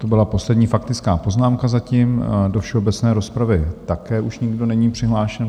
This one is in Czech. To byla poslední faktická poznámka zatím, do všeobecné rozpravy také už nikdo není přihlášen.